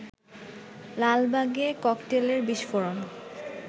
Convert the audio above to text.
লালবাগে ককটেলের বিস্ফোরণ